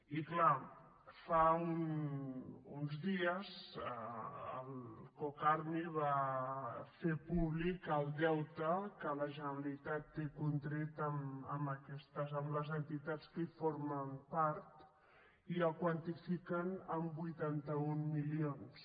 i clar fa uns dies el cocarmi va fer públic el deute que la generalitat té contret amb les entitats que en formen part i el quantifiquen en vuitanta un milions